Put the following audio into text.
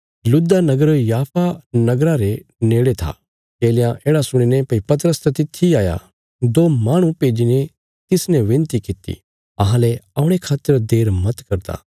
लुद्दा नगर याफा नगरा रे नेड़े था चेलयां येढ़ा सुणीने भई पतरस त तित्थी इ हाया दो माहणु भेज्जीने तिसने विनती किति अहांले औणे खातर देर मत करदा